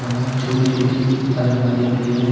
वहां छोटी छोटी अलमारियां भी हैं।